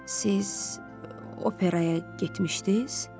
Siz operaya getmişdiz?